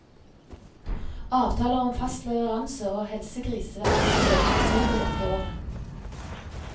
Avtaler om fast leveranse og helsegris ventes å øke betydelig dette året.